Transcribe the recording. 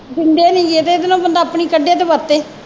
ਦਿੰਦੇ ਨਹੀਂ ਗੇ ਤੇ ਇਹਦੇ ਨੋ ਬੰਦਾ ਆਪਣੀ ਕੱਢੇ ਤੇ ਵਰਤੇ।